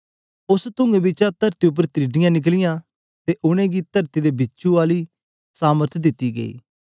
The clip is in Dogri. उस्स तूंऐं बिचा तरती उपर त्रिडियां निकलीयां ते उनेंगी तरती दे बिछुं आली सामर्थ दिती गई